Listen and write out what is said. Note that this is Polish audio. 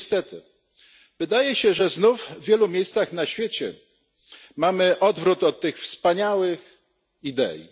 Niestety, wydaje się, że znów w wielu miejscach na świecie mamy odwrót od tych wspaniałych idei.